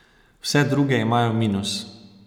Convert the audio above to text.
Vse druge imajo minus.